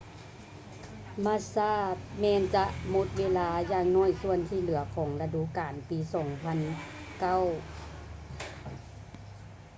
massa ແມ່ນຈະໝົດເວລາຢ່າງໜ້ອຍສ່ວນທີ່ເຫຼືອຂອງລະດູການປີ 2009